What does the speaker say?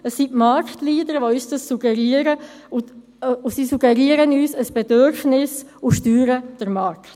Es sind die Marktleader, die uns dies suggerieren, und sie suggerieren uns ein Bedürfnis und steuern den Markt.